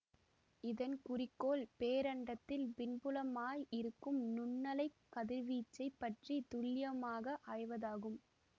இதன் குறிக்கோள் பேரண்டத்தில் பின்புலமாய் இருக்கும் நுண்ணலைக் கதிர்வீச்சைப் பற்றி துல்லியமாக ஆய்வதாகும்